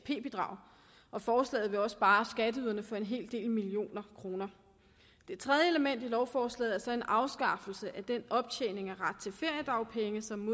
bidrag og forslaget vil også spare skatteyderne for en hel del millioner kroner det tredje element i lovforslaget er så en afskaffelse af den optjening af ret til feriedagpenge som